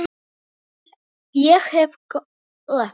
Ég hef átt gott líf.